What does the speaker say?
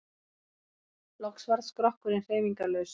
Loks varð skrokkurinn hreyfingarlaus.